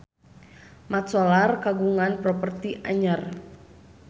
Mat Solar kagungan properti anyar